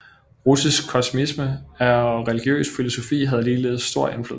Russisk kosmisme og religiøs filosofi havde ligeledes stor indflydelse